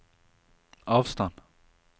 avstand